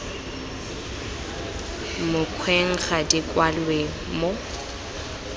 mokgweng ga di kwalwe mo